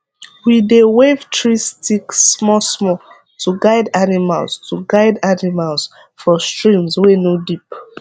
we dey wave tree stick small small to guide animals to guide animals for streams wey no deep